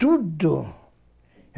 Tudo.